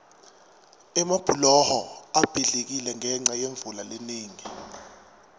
emabhuloho abhidlikile ngenca yemvula lenengi